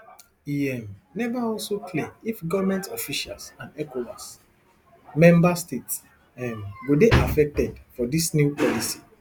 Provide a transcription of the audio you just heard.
e um neva also clear if govment officials and ecowas member states um go dey affected for dis new policy